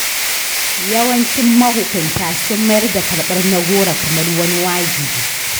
Yawancin mahukunta sun mayar da karɓar na-goro kamar wani wajibi.